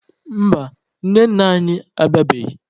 Mba, nne nna anyị abịabeghị.